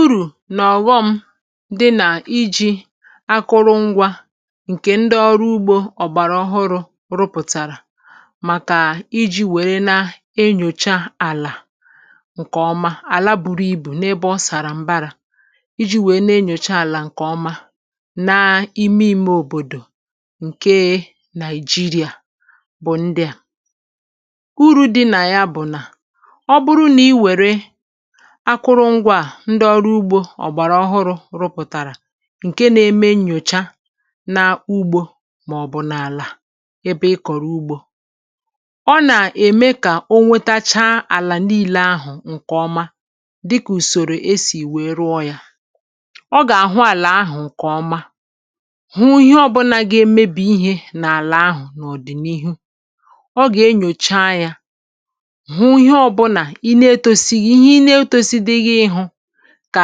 Uru nà ọ̀ghọm dị nà iji̇ akụrụ ngwa ǹkè ndị ọrụ ugbȯ ọ̀gbàrà ọhụrụ̇ rụpụ̀tàrà màkà iji̇ wère na-enyòcha àlà ǹkèọma àla bùrù ibù n’ebe ọ sàrà m̀bara iji̇ wèe na-enyòcha àlà ǹkèọma na ime imė òbòdò ǹke Nigeria bụ̀ ndị à: Uru̇ dị nà ya bụ̀ nà, ọ bụrụ nà i wère akụrụ ngwa à ndị ọrụ ugbȯ ọ̀gbàrà ọhụrụ̇ rụpụ̀tàrà ǹke na-eme nnyòcha na ugbȯ màọ̀bụ̀ n’àlà ebe ị kọ̀rọ̀ ugbȯ, ọ nà-ème kà o nwetachaa àlà n’ile ahụ̀ ǹkè ọma, dịkà ùsòrò esì wee rụọ yȧ. Ọ gà-àhụ àlà ahụ̀ ǹkè ọma, hu ihe ọbụna ga-emebì ihė n’àlà ahụ̀ n’ọ̀dị̀nihu. Ọ gà-enyòcha yȧ, hụ ihe ọbụna ị na etosighị ihe ị n’etosidịghị ịhụ kà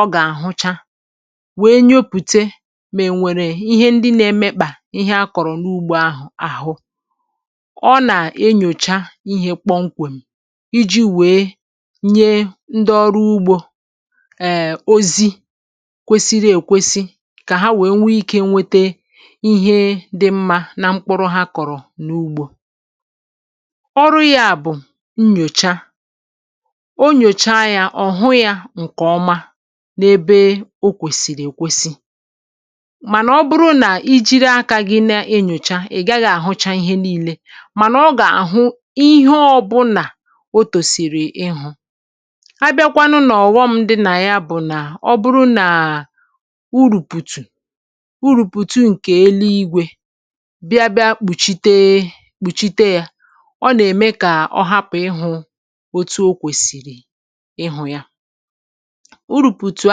ọ gà-ahụcha, wee nyopùte mà ènwèrè ihe ndị na-emekpà ihe a kọ̀rọ̀ n’ugbȯ ahụ̀ àhụ. Ọ nà-enyòcha ihe kpọmkwèm iji wèe nye ndị ọrụ ugbȯ um ozi kwesiri èkwesi kà ha wee nwee ikė nwete ihe dị mmȧ na mkpụrụ ha kọ̀rọ̀ n’ugbȯ. Ọrụ yȧ bụ̀ nyòcha. O nyocha ya ọ hụ ya nkeọma n’ebe o kwèsìrì èkwesi. Mànà ọ bụrụ nà i jiri akȧ gị na-enyòcha, ị̀ gaghị̇ àhụcha ihe nii̇le, mànà ọ gà-àhụ ihe ọbụnà otòsìrì ịhụ̇. A bịakwanụ nà ọ̀ghọm dị nà ya bụ̀ nà ọ bụrụ nà uru̇pùtù uru̇pùtù ǹkè elu igwė bịa bịa kpùchite kpùchite yȧ, ọ nà-ème kà ọ hapụ̀ ịhụ̇ otu okwesịrị ịhụ ya. Urùpùtù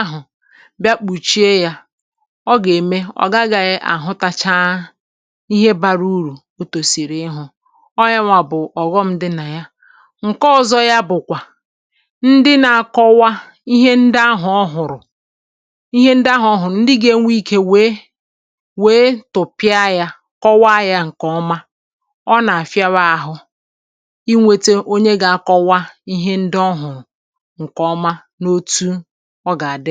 ahụ̀ bịa kpùchie yȧ, ọ gà-eme ọ̀ gaghị àhụtachaa ihe bara urù ọ tòsìrì ịhụ̇. Ọ yȧ nwà bụ̀ ọ̀ghọm dị nà ya. Nke ọ̇zọ̇ ya bụ̀kwà, ndị nȧ-akọwa ihe ndị ahụ̀ ọ hụ̀rụ̀ ihe ndị ahụ̀ ọ hụ̀rụ̀ ndị gȧ-enwe ikė wèe wèe tụpịa yȧ, kọwaa yȧ ǹkè ọma, ọ nà-àfịawa ahụ̇ inwėte onye gȧ-akọwa ihe ndị ọ hụ̀rụ̀ nkeọma, n’otu ọ gà-àdị m